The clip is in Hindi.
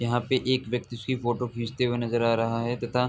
यहां पे एक व्यक्ति उसकी फोटो खींचते हुए नजर आ रहा है तथा --